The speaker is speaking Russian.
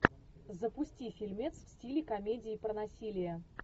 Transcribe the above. запусти фильмец в стиле комедии про насилие